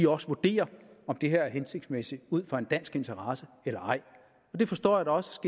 også vurderer om det her er hensigtsmæssigt ud fra en dansk interesse eller ej og det forstår jeg også